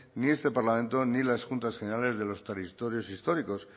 ni este parlamento ni las juntas generales de los territorios históricos